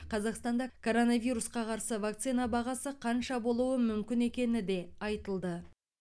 қазақстанда коронавирусқа қарсы вакцина бағасы қанша болуы мүмкін екені де айтылды